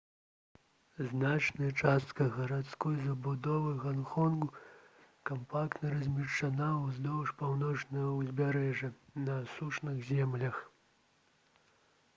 значная частка гарадской забудовы ганконгу кампактна размешчана ўздоўж паўночнага ўзбярэжжа на асушаных землях